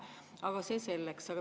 Aga see selleks.